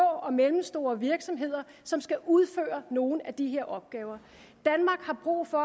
og mellemstore virksomheder som skal udføre nogle af de her opgaver danmark har brug for